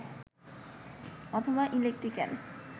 অথবা ইলেকট্রিক্যাল